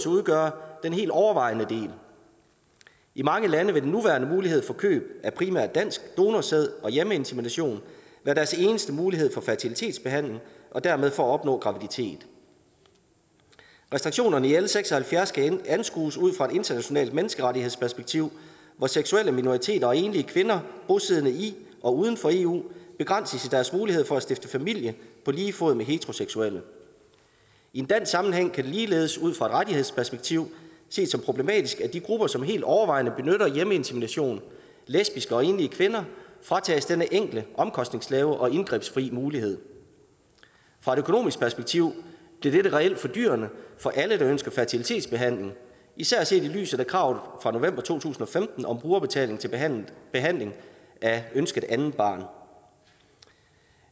udgøre den helt overvejende del i mange lande vil den nuværende mulighed for køb af primært dansk donorsæd og hjemmeinsemination være deres eneste mulighed for fertilitetsbehandling og dermed for at opnå graviditet restriktionerne i l seks og halvfjerds skal anskues ud fra et internationalt menneskerettighedsperspektiv hvor seksuelle minoriteter og enlige kvinder bosiddende i og uden for eu begrænses i deres mulighed for at stifte familie på lige fod med heteroseksuelle i en dansk sammenhæng kan det ligeledes ud fra et rettighedsperspektiv ses som problematisk at de grupper som helt overvejende benytter hjemmeinsemination lesbiske og enlige kvinder fratages denne enkle omkostningslave og indgrebsfri mulighed fra et økonomisk perspektiv bliver dette reelt fordyrende for alle der ønsker fertilitetsbehandling især set i lyset af kravet fra november to tusind og femten om brugerbetaling til behandling behandling af ønsket andet barn